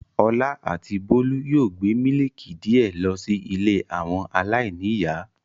Ọlá àti Bólú yóò gbé mílíkì díẹ̀ lọ sí ilé àwọn aláìníìyá.